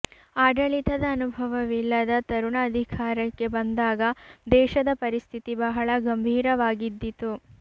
ಆಡಳಿತದ ಅನುಭವವಿಲ್ಲದ ತರುಣ ಅಧಿಕಾರಕ್ಕೆ ಬಂದಾಗ ದೇಶದ ಪರಿಸ್ಥಿತಿ ಬಹಳ ಗಂಭೀರವಾಗಿದ್ದಿತು